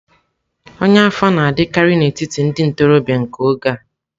Ọnya afọ na-adịkarị n'etiti ndị ntorobịa nke oge a.